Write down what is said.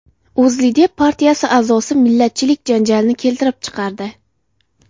O‘zLiDeP partiyasi a’zosi millatchilik janjalini keltirib chiqardi.